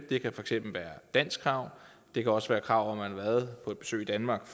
det kan for eksempel være danskkrav det kan også være krav om at har været på besøg i danmark